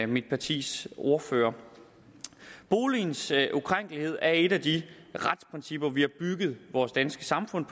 mit partis ordfører boligens ukrænkelighed er et af de retsprincipper som vi har bygget vores danske samfund